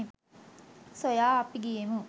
සොයා අපි ගියෙමු